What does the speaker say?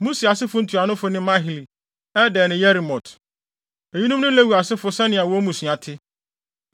Musi asefo ntuanofo ne Mahli, Eder ne Yerimot. Eyinom ne Lewi asefo ne sɛnea wɔn mmusua te.